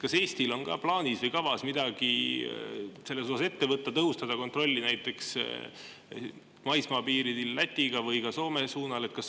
Kas Eestil on plaanis või kavas midagi selles osas ette võtta, tõhustada näiteks kontrolli maismaapiiril Lätiga või ka Soome suunal?